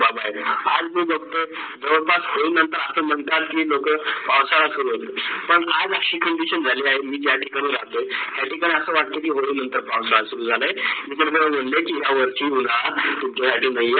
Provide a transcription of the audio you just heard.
बाबत आहेत. आज मी फक्त बगतात की अस म्हणतात की लोक पावसाळा सुरवात पण आज अशी condition झाली आहेत मी ज्या ठिकाणी राहतोय त्या ठिकाणी अस वाटतोये की नंतर पाऊसा शुरु झालंय